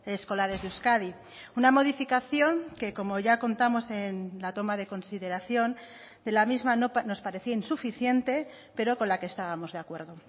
escolares de euskadi una modificación que como ya contamos en la toma de consideración de la misma nos parecía insuficiente pero con la que estábamos de acuerdo